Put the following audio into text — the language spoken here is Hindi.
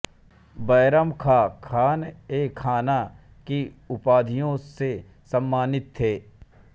बैरम खाँ खानएखाना की उपाधि से सम्मानित थे